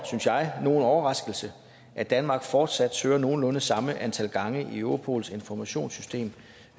synes jeg nogen overraskelse at danmark fortsat søger nogenlunde samme antal gange i europols informationssystem